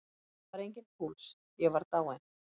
Það var enginn púls, ég var dáinn.